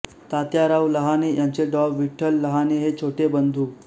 तात्याराव लहाने यांचे डॉ विठ्ठल लहाने हे छोटे बंधू